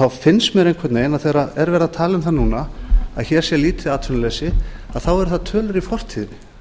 þá finnst mér einhvern veginn að þegar verið er að tala um það núna að hér sé lítið atvinnuleysi þá eru það tölur í fortíðinni